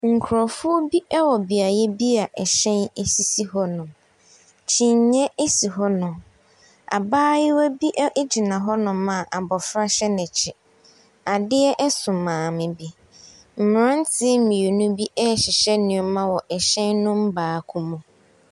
Nkrɔfo ɛwɔ biayɛ bi a ɛhyɛn sisi hɔnom. Kyiniiɛ asi hɔnom. Abaayewa bi agyina hɔnom a abɔfra hyɛ n'akyi. Adeɛ ɛso maame bi. Mmranteɛ mmienu bi ɛhyehyɛ nneɛma wɔ ɛhyɛn baako mu.